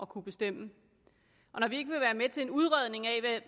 kunne bestemme når vi ikke vil være med til udredning af